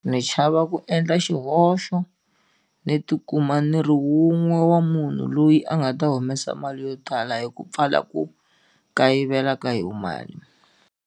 Ni chava ku endla xihoxo ni ti kuma ni ri wun'we wa munhu loyi a nga ta humesa mali yo tala hi ku pfala ku kayivela ka yona mali.